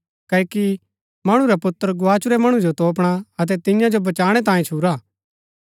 क्ओकि मणु रा पुत्र गवाचुरै मणु जो तोपणा अतै तियां जो बचाणै तांयें छुरा हा